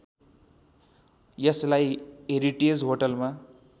यसलाई हेरिटेज होटलमा